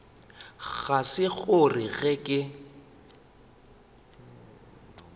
ga se gore ge ke